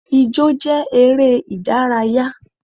Ijọ́ jẹ́ eré ìdárayá.